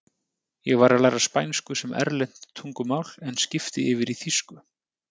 Ég var að læra spænsku sem erlent tungumál en skipti yfir í þýsku.